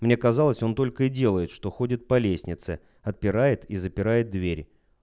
мне казалось он только и делает что ходит по лестнице отпирает и запирает дверь